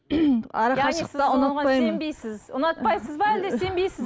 арақашықтықты ұнатпаймын сенбейсіз ұнатпайсыз ба әлде сенбейсіз